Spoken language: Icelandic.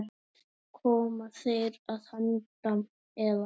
Koma þeir að handan, eða?